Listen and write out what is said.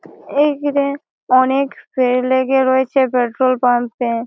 এই হিড়ে অনেক ভীড় লেগে রয়েছে পেট্রোল পাম্প এ ।